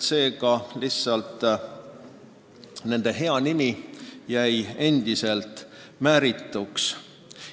Seega jäi nende hea nimi endiselt määrituks.